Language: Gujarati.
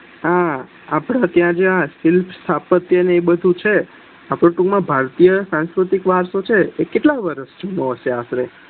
હા આપડા ત્યાં સ્થીર સ્થાપત્ય ને બધું છ આપડ ટૂંક માં ભારતીય સાસ્કૃતિ વારસો કેટલા વર્ષ નો હશે